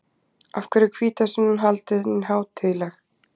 Af hverju er hvítasunnan haldin hátíðleg?